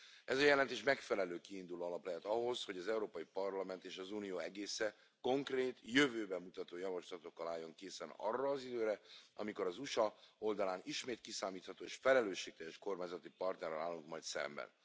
Ez a jelentés megfelelő kiinduló alap lehet ahhoz, hogy az Európai Parlament és az Unió egésze konkrét, jövőbe mutató javaslatokkal álljon készen arra az időre, amikor az USA oldalán ismét kiszámítható és felelősségteljes kormányzati partnerrel állunk majd szemben.